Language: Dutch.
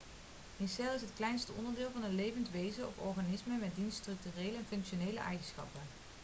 een cel is het kleinste onderdeel van een levend wezen of organisme met diens structurele en functionele eigenschappen